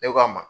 Ne k'a ma